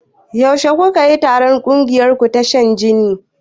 Yaushe kukayi taron ƙungiyarku ta shan jini?